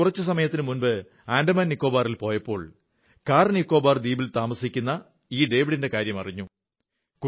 ഞാൻ ആന്തമാൻ നിക്കോബാറിൽ പോയപ്പോൾ കാർനിക്കോബാർ ദ്വീപിൽ താമസിക്കുന്ന ഈ ഡേവിഡിന്റെ കാര്യം അറിഞ്ഞു